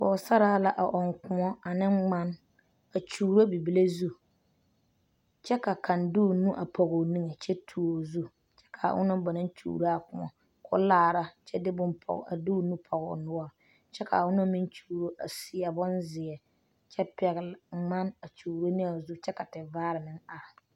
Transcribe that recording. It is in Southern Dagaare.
Pɔge saraa la a ɔŋ koɔ ane ŋman, a kyuuro bibile zu kyɛ ka kaŋ de o nu a pɔge o niŋɛ kyɛ de o nu tuo o zu, ka a ona ba naŋ kyuuro a koɔ kɔɔ laara kyɛ de o nu pɔge. o noɔre kyɛ ka a ona meŋ kyuuro a seɛ bonzeɛ kyɛ pɛgele ŋman a kyuuro ne a o zu ka vaare meŋ are